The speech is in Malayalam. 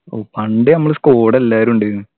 ഓ പണ്ട് നമ്മളെ squad എല്ലാരുണ്ടെനു